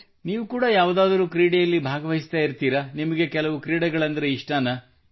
ನೀವು ಕೂಡಾ ಯಾವುದಾದರೂ ಕ್ರೀಡೆಯಲ್ಲಿ ಭಾಗವಹಿಸುತ್ತಿರುತ್ತೀರಾ ನಿಮಗೆ ಕೆಲವು ಕ್ರೀಡೆಗಳೆಂದರೆ ಇಷ್ಟವೇ